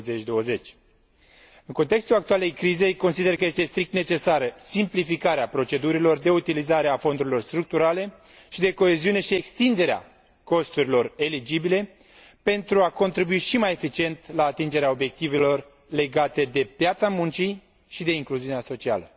2020. În contextul actualei crize, consider că este strict necesară simplificarea procedurilor de utilizare a fondurilor structurale și de coeziune și extinderea costurilor eligibile pentru a contribui și mai eficient la atingerea obiectivelor legate de piața muncii și de incluziunea socială.